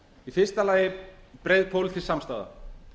í fyrsta lagi breið pólitísk samstaða